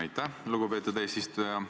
Aitäh, lugupeetud eesistuja!